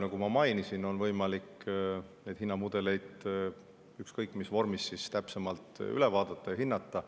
Nagu ma mainisin, neid hinnamudeleid on võimalik ükskõik mis vormis siis täpsemalt vaadata ja hinnata.